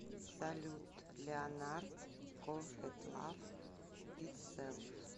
салют леонард кохет лав итселф